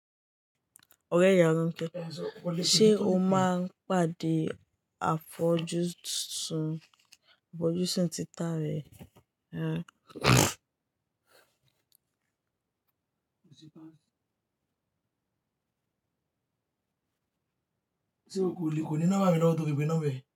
Ọrẹ́ Yàráńké, ṣe o máa ń pàdé àfọjúsùn títà rẹ? O ti pa. Se o ko le ko ni nọ́mbà mi lówó to fi pè nombá rẹ?